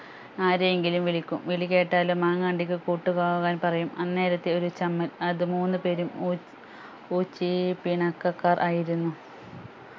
ആരെയെങ്കിലും വിളിക്കും വിളി കേട്ടാലും മാങ്ങ അണ്ടിക്ക് കൂട്ടുപോകാൻ പറയും അന്നേരത്തെ ഒരു ചമ്മൽ അത് മൂന്ന് പേരും ഉ ഊച്ചി പിണക്കക്കാർ ആയിരുന്നു